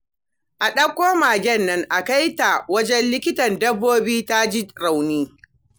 Ka ɗauko magen nan a kai ta wajen Likitan Dabbobi, ta ji rauni